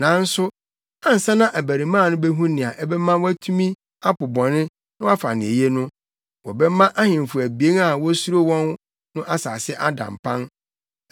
Nanso ansa na abarimaa no behu nea ɛbɛma watumi apo bɔne na wafa nea eye no, wɔbɛma ahemfo abien a wusuro wɔn no nsase ada mpan.